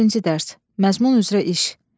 Birinci dərs, Məzmun üzrə iş.